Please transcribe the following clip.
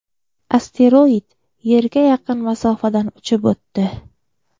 Asteroid Yerga yaqin masofadan uchib o‘tdi.